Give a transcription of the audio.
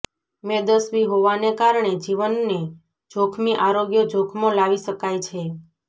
મેદસ્વી હોવાને કારણે જીવનને જોખમી આરોગ્ય જોખમો લાવી શકાય છે